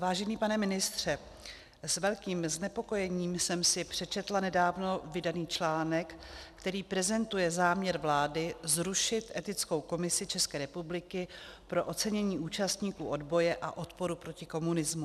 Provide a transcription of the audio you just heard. Vážený pane ministře, s velkým znepokojením jsem si přečetla nedávno vydaný článek, který prezentuje záměr vlády zrušit Etickou komisi České republiky pro ocenění účastníků odboje a odporu proti komunismu.